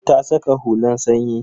Ta saka hulan sanyi.